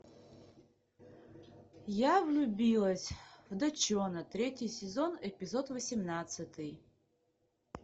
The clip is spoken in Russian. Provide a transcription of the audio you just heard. я влюбилась в до чона третий сезон эпизод восемнадцатый